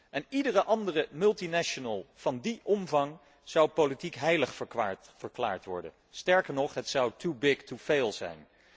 En iedere andere multinational van die omvang zou politiek heilig verklaard worden, sterker nog, het zou too big to fail zijn.